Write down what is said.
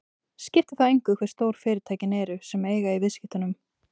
Skiptir þá engu hve stór fyrirtækin sem eiga í viðskiptunum eru.